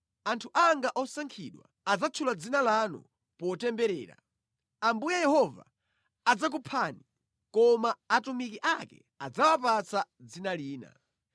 Anthu anga osankhidwa adzatchula dzina lanu potemberera. Ambuye Yehova adzakuphani, koma atumiki ake adzawapatsa dzina lina.